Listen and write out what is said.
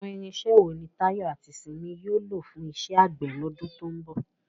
Àwọn irinṣẹ́ wo ni Tayo àti Simi yóò lò fún iṣẹ́ àgbẹ̀ lọ́dún tó ń bọ̀?